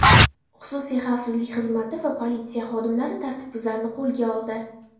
Xususiy xavfsizlik xizmati va politsiya xodimlari tartibbuzarni qo‘lga oldi.